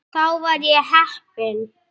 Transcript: Þar var ég heppinn